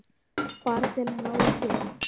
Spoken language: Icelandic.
Bara til að fá frið.